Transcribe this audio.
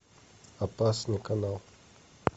опасный канал